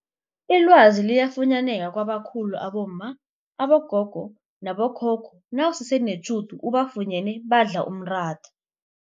Ilwazi liyafunyaneka kwabakhulu abomma, abogogo nabo khokho nawusese netjhudu ubafunyene badla umratha.